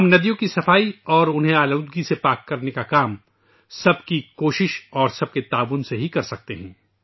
ہم ندیوں کی صفائی اور انہیں آلودگی سے پاک کرنے کا کام سب کی کوشش اور سب کے تعاون سے ہی کر سکتے ہیں